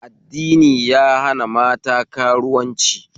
Addini ya hana mata karuwanci